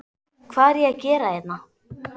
Hvað er ég að gera hérna?